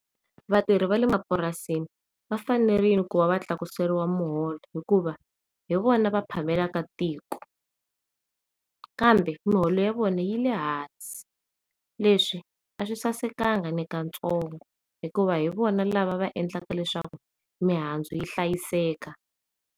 Vatirhi vale mapurasini va fanerile ku va va tlakusiwa muholo hikuva hi vona va phamelaka tiko kambe miholo ya vona yile hansi leswi aswi sasekanga na ka ntsongo hikuva hi vona lava va endlaka leswaku mihandzu yi hlayiseka.